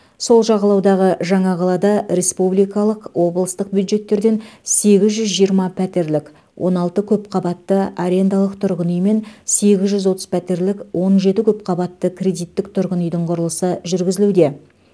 сол жағалаудағы жаңа қалада республикалық облыстық бюджеттерден сегіз жүз жиырма пәтерлік он алты көпқабатты арендалық тұрғын үй мен сегіз жүз отыз пәтерлік он жеті көпқабатты кредиттік тұрғын үйдің құрылысы жүргізілуде